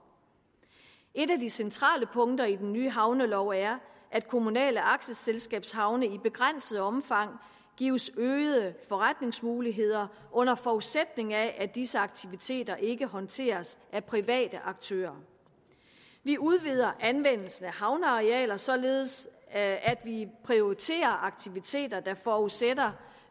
et af de centrale punkter i den nye havnelov er at kommunale aktieselskabshavne i begrænset omfang gives øgede forretningsmuligheder under forudsætning af at disse aktiviteter ikke håndteres af private aktører vi udvider anvendelsen af havnearealer således at vi prioriterer aktiviteter der forudsætter